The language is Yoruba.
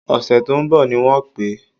Ọ̀sẹ̀ tó ń bọ̀ ni wọ́n pè é